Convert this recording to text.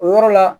O yɔrɔ la